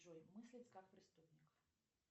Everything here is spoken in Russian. джой мыслить как преступник